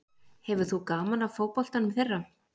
Hefur þú gaman af fótboltanum þeirra?